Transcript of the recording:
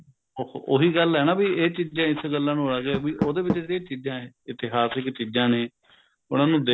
ਉਹ ਉਹੀ ਗੱਲ ਏ ਨਾ ਬੀ ਇਹ ਚੀਜ਼ਾ ਇਸ ਗੱਲਾਂ ਨੂੰ ਆ ਗਏ ਵੀ ਉਹਦੇ ਵਿੱਚ ਜਿਹੜੀਆ ਚੀਜ਼ਾ ਇਤਿਹਾਸਿਕ ਚੀਜ਼ਾ ਨੇ ਉਹਨਾ ਨੂੰ